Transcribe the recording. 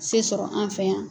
Se sɔrɔ an fɛ yan